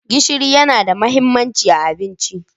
Gishiri yana da mahimmanci a cikin abinci.